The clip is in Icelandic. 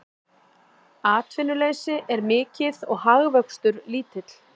Atvinnuleysi er mikið og hagvöxtur lítill